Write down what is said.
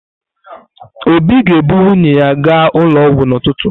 Obi ga-ebu nwunye ya gaa ụlọ ọgwụ n’ụtụtụ.